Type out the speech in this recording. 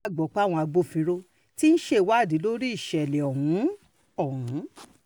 gbọ́ páwọn agbófinró tí ń ṣèwádìí lórí ìṣẹ̀lẹ̀ ọ̀hún ọ̀hún